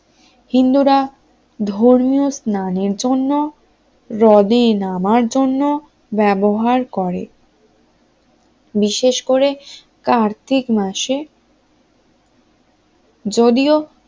হিন্দুরা ধর্মীয় স্নানের জন্য হ্রদে নামার জন্য ব্যবহার করে বিশেষ করে কার্তিক মাসে , যদিও